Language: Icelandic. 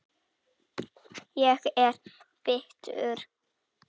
Ég er bitur.